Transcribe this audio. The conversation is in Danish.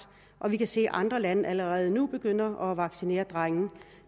og vi kan se at andre lande allerede nu begynder at vaccinere drenge